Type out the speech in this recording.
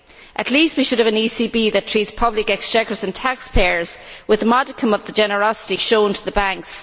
At least we should have an ECB that treats public exchequers and taxpayers with a modicum of the generosity shown to the banks.